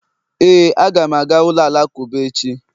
Éè, a ga m aga ụlọ alakụba echi